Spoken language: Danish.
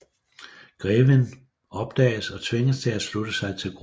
Greven opdages og tvinges til at slutte sig til gruppen